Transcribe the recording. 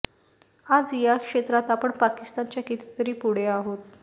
आज या क्षेत्रात आपण पाकिस्तानच्या कितीतरी पुढे आहोत